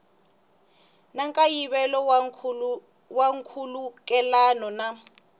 na nkayivelo wa nkhulukelano na